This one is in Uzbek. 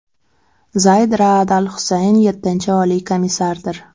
Zayd Raad al-Husayn yettinchi Oliy komissardir.